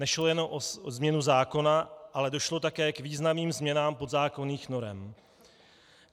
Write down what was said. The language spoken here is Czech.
Nešlo jenom o změnu zákona, ale došlo také k významným změnám podzákonných norem.